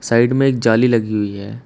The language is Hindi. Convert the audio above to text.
साइड में जाली लगी हुई है।